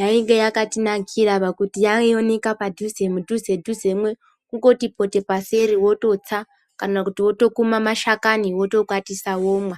yainge yakatinakira pakuti yaioneka padhuze mudhuze dhuze mwo kungoti pote paseri wototsa kana kuti wotokuma mashakani wotokwatisa womwa.